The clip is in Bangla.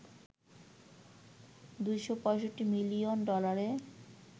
২৬৫ মিলিয়ন ডলারে